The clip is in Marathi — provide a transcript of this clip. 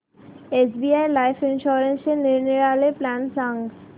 एसबीआय लाइफ इन्शुरन्सचे निरनिराळे प्लॅन सांग